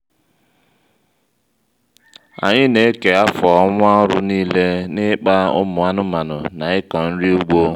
anyị n'eke afọ ọnwa ọrụ niile n ịkpa ụmụ anụmanụ na ịkọ nri ụgbọ